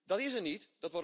Dat is er niet.